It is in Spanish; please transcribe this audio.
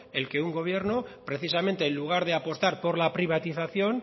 el que un gobierno precisamente en lugar de apostar por la privatización